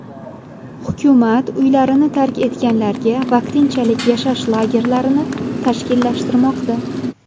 Hukumat uylarini tark etganlarga vaqtinchalik yashash lagerlari tashkillashtirmoqda.